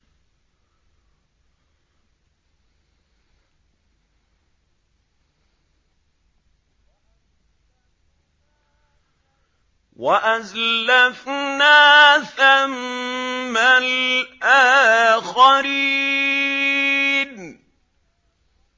وَأَزْلَفْنَا ثَمَّ الْآخَرِينَ